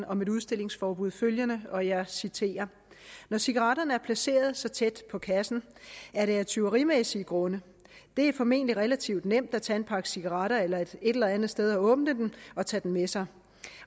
om et udstillingsforbud følgende og jeg citerer når cigaretterne er placeret så tæt på kassen er det af tyverimæssige grunde det er formentlig relativt nemt at tage en pakke cigaretter et eller andet sted og åbne den og tage den med sig